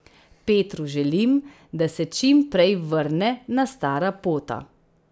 Petru želim, da se čim prej vrne na stara pota.